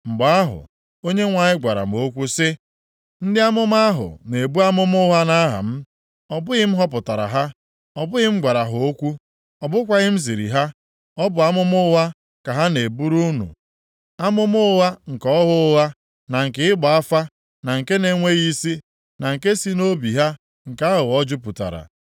Mgbe ahụ, Onyenwe anyị gwara m okwu sị, “Ndị amụma ahụ na-ebu amụma ụgha nʼaha m. Ọ bụghị m họpụtara ha, ọ bụghị m gwara ha okwu, ọ bụkwaghị m ziri ha. Ọ bụ amụma ụgha ka ha na-eburu unu, amụma ụgha nke ọhụ ụgha, na nke ịgba afa, na nke na-enweghị isi, na nke si nʼobi ha nke aghụghọ jupụtara.